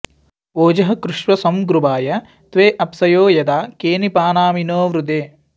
ओजः कृष्व सं गृभाय त्वे अप्यसो यथा केनिपानामिनो वृधे